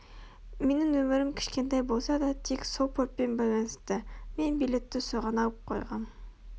менің өмірім кішкентай болса да тек сол портпен байланысты мен билетті соған алып қойғам